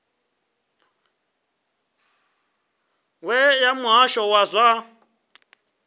we ya muhasho wa zwa